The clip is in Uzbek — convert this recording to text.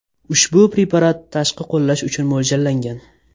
Ushbu preparat tashqi qo‘llash uchun mo‘ljallangan.